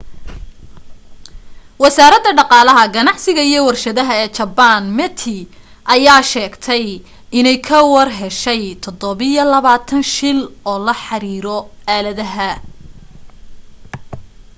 wasaaradda dhaqaalaha ganacsiga iyo warshadaha ee jabbaan meti ayaa sheegtay inay ka warheshay 27 shil oo la xariiro aaladaha